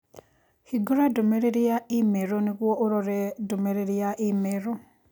Hingũra ndũmĩrĩri ya i-mīrū nĩguo ũrore ndũmĩrĩri ya i-mīrū